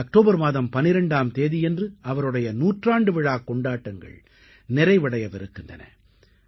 இந்த அக்டோபர் மாதம் 12ஆம் தேதியன்று அவருடைய நூற்றாண்டு விழாக் கொண்டாட்டங்கள் நிறைவடையவிருக்கின்றன